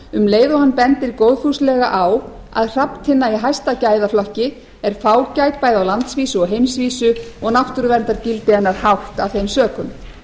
um leið og hann bendir góðfúslega á að hrafntinna í hæsta gæðaflokki er fágæt bæði á landsvísu og heimsvísu og náttúruverndargildi hennar hátt af þeim sökum